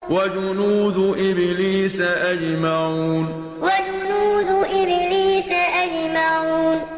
وَجُنُودُ إِبْلِيسَ أَجْمَعُونَ وَجُنُودُ إِبْلِيسَ أَجْمَعُونَ